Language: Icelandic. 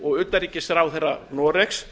við utanríkisráðherra noregs